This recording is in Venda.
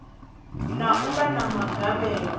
na u vha na magavhelo